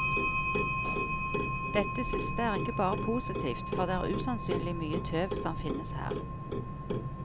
Dette siste er ikke bare positivt, for det er usannsynlig mye tøv som finnes her.